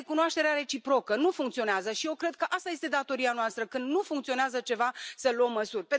Apoi, recunoașterea reciprocă nu funcționează și eu cred că asta este datoria noastră când nu funcționează ceva, să luăm măsuri.